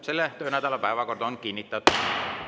Selle töönädala päevakord on kinnitatud.